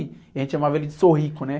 E a gente amava ele de Sorrico, né?